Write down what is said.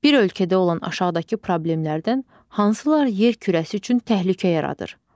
Bir ölkədə olan aşağıdakı problemlərdən hansılar yer kürəsi üçün təhlükə yaradır?